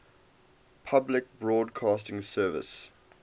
public broadcasting service